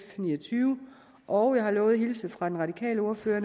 ni og tyve og jeg har lovet at hilse fra den radikale ordfører